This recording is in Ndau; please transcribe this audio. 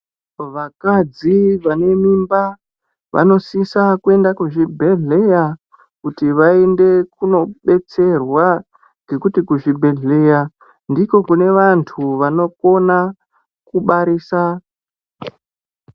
Vakadzi vane mimba vanosisa kuenda kuzvinhedhlera kuti vaende kundodetserwa ngekuti kuzvibhedhlera ndiko kune vantu vanokona kubarisa.